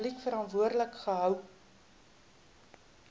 publiek verantwoordelik gehou